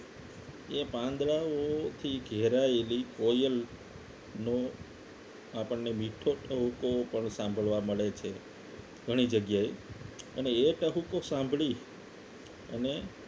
એ પાંદડાઓથી ઘેરાયેલી કોયલ નો આપણને મીઠો તહુકો પણ સાંભળવા મળે છે ઘણી જગ્યાએ અને એ ટહુકો સાંભળી અને